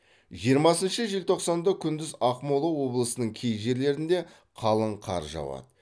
жиырмасыншы желтоқсанда күндіз ақмола облысының кей жерлерінде қалың қар жауады